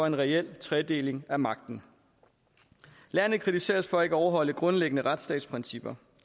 en reel tredeling af magten landet kritiseres for ikke at overholde grundlæggende retsstatsprincipper